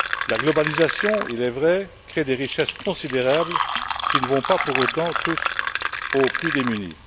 La globalisation, il est vrai, crée des richesses considérables qui ne vont pas pour autant toutes aux plus démunis.